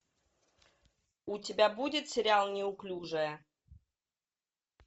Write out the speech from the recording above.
у тебя будет сериал неуклюжая